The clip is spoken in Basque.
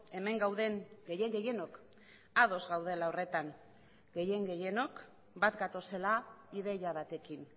hemen gauden gehien gehienok ados gaudela horretan gehien gehienok bat gatozela ideia batekin